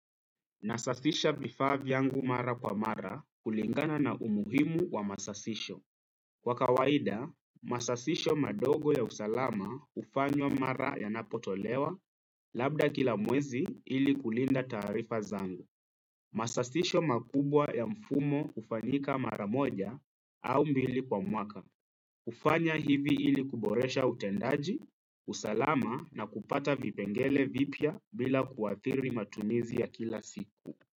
Nasafisha vifaa vyangu mara kwa mara kulingana na umuhimu wa masafisho. Kwa kawaida, masafisho madogo ya usalama hufanywa mara yanapotolewa, labda kila mwezi ili kulinda taarifa zangu. Masasisho makubwa ya mfumo hufanyika mara moja au mbili kwa mwaka. Hufanya hivi ili kuboresha utendaji, usalama na kupata vipengele vipya bila kuathiri matumizi ya kila siku.